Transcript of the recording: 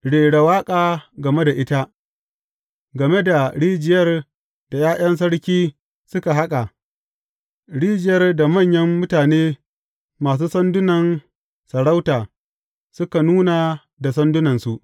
Rera waƙa game da ita, game da rijiyar da ’ya’yan sarki suka haƙa, rijiyar da manyan mutane masu sandunan sarauta suka nuna da sandunansu.